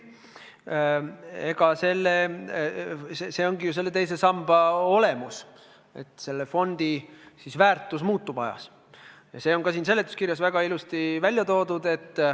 Aga see ongi ju teise samba olemus, et fondi väärtus aja jooksul muutub, ja see on ka seletuskirjas väga ilusasti välja toodud.